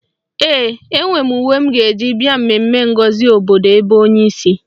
Ee, enwe m uwe m ga-eyi bịa mmemme ngosi obodo ebe onye si